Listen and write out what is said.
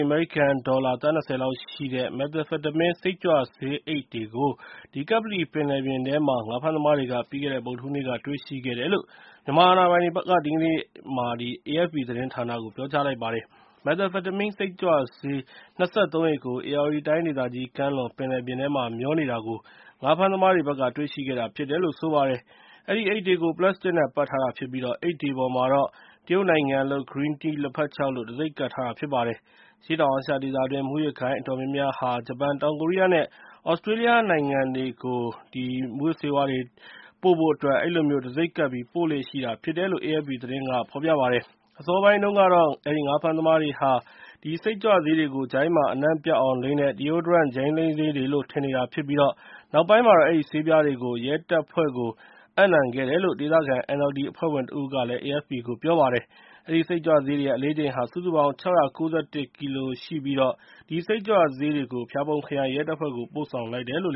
အမေရိကန်ဒေါ်လာ သန်း ၂၀ လောက် တန်ဖိုးရှိတဲ့ Methamphetamine စိတ်ကြွဆေးအိတ်တွေကို ကပ္ပလီပင်လယ်ထဲမှာ ငါးဖမ်းသမားတွေက ပြီးခဲ့တဲ့ ဗုဒ္ဓဟူးနေ့က တွေ့ရှိခဲ့တယ်လို့ မြန်မာအာဏာပိုင်တွေက AFP သတင်းဌာနကို ဒီကနေ့မှာ ပြောကြားလိုက်ပါတယ်။ Methamphetamine စိတ်ကြွဆေး ၂၃ အိတ်ကို ဧရာဝတီတိုင်းဒေသကြီး ကမ်းလွန်ပင်လယ်ပြင်မှာ မျောနေတာကို ငါးဖမ်းသမားတွေက တွေ့ရှိခဲ့တာဖြစ်တယ်လို့ ဆိုပါတယ်။ အဲဒီအိတ်တွေကို ပလတ်စတစ်နဲ့ ပတ်ထားတာဖြစ်ပြီး အိတ်တွေပေါ်မှာတော့ တရုတ်နိုင်ငံလုပ် Green Tea လက်ဖက်ခြောက်လို့ တံဆိပ်ကပ်ထားတာ ဖြစ်ပါတယ်။ အရှေ့တောင်အာရှဒေသတွင်း မူးယစ်ဂိုဏ်းအတော်များများဟာ ဂျပန်၊ တောင်ကိုရီးယားနဲ့ သြစတြေးလျနိုင်ငံတွေကို မူးယစ်ဆေးဝါးတွေ ပို့ဖို့အတွက် အဲဒီလိုမျိုး တံဆိပ်ကပ်ပြီး ပို့လေ့ရှိကြတာဖြစ်တယ်လို့ AFP သတင်းမှာ ဖော်ပြပါတယ်။ အစောပိုင်းတုန်းကတော့ ငါးဖမ်းသမားတွေက အဲဒီ စိတ်ကြွဆေးတွေကို Deodorant ဂျိုင်းလိမ်းဆေးတွေလို့ ထင်နေတာဖြစ်ပြီး နောက်ပိုင်းမှာတော့ အဲဒီဆေးပြားတွေကို ရဲတပ်ဖွဲ့ကို အပ်နှံခဲ့တာဖြစ်တယ်လို့ ဒေသခံ NLD အဖွဲ့ဝင်တဦးက AFP ကို ပြောပါတယ်။ အဲဒီ စိတ်ကြွဆေးတွေရဲ့ အလေးချိန်ဟာ စုစုပေါင်း ၆၉၁ ကီလိုဖြစ်ပြီး အဲဒီ စိတ်ကြွဆေးတွေကို ဖျာပုံခရိုင်ရဲတပ်ဖွဲ့ကို ပို့ဆောင်လိုက်တယ်လို့